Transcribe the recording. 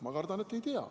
Ma kardan, et ei tea.